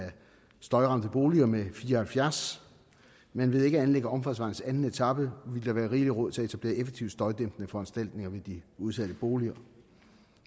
støjramte boliger med fire og halvfjerds men ved ikke at anlægge omfartsvejen til anden etape ville der være rigelig råd til at etablere effektive støjdæmpende foranstaltninger ved de udsatte boliger